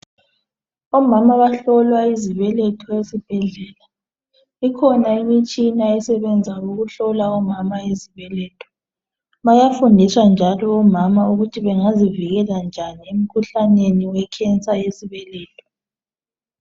Omama abahlolwa izibeletho esibhedlela ikhona imitshina esebenza ngokuhlola omama izibeletho bayafundiswa njalo omama ukuthi bangazivikela njani emkhuhlaneni we cancer yesibeletho